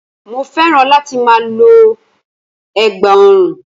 Mo féràn láti ma lo ẹ̀gbà orun